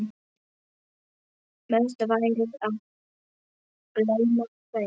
Best væri að gleyma þeim.